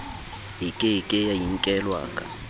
e ke ke ya inkelwaka